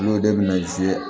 N'o de bɛna